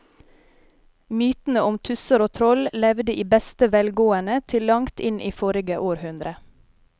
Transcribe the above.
Mytene om tusser og troll levde i beste velgående til langt inn i forrige århundre.